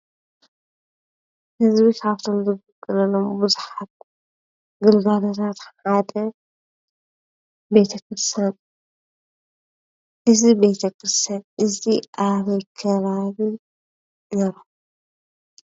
ህዝቢ ኻብቶም ዝግልገለሎም ብዙሓት ግልጋለታት ሓደ ቤተ ክርስትያን እዝ ቤተ ኽርሰትያን እዝ ኣበይ ከባቢ ነይሩ